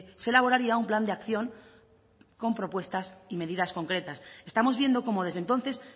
se elaboraría un plan de acción con propuestas y medidas concretas estamos viendo cómo desde entonces